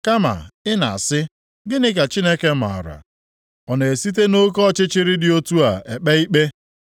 Kama ị na-asị, ‘Gịnị ka Chineke maara? Ọ na-esite nʼoke ọchịchịrị dị otu a ekpe ikpe?